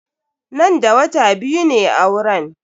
Nan da wata biyu ne auren.